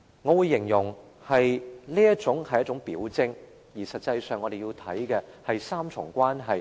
我會形容這是一種表徵，而實際上，我們要看的是3重關係。